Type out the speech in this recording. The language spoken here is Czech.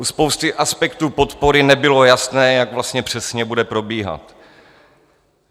U spousty aspektů podpory nebylo jasné, jak vlastně přesně bude probíhat.